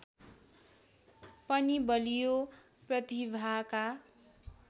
पनि बलियो प्रतिभाका